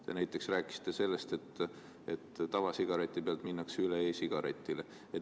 Te näiteks rääkisite sellest, et tavasigareti pealt minnakse üle e-sigaretile.